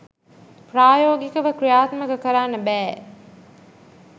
ප්‍රායෝගිකව ක්‍රියාත්මක කරන්න බෑ